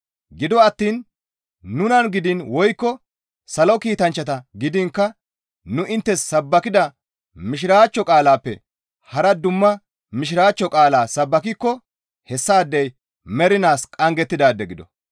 Gido attiin nuna gidiin woykko salo kiitanchcha gidiinkka nu inttes sabbakida Mishiraachcho qaalaappe hara dumma Mishiraachcho qaala sabbakikko hessaadey mernaas qanggettidaade gido.